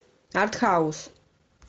артхаус